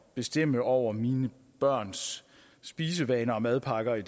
bestemme over mine børns spisevaner og madpakker i